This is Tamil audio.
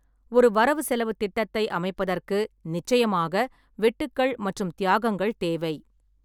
ஒரு வரவு செலவுத் திட்டத்தை அமைப்பதற்கு நிச்சயமாக வெட்டுக்கள் மற்றும் தியாகங்கள் தேவை.